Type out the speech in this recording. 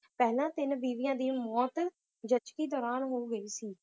ਪਹਿਲਾਂ ਤਿੰਨ ਬੀਵੀਆਂ ਦੀ ਮੌਤ ਜ਼ਚਗੀ ਦੌਰਾਨ ਹੋ ਗਈ ਸੀ l